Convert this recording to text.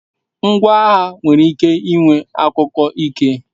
Ngwa agha kwesiri iwe akuko Ike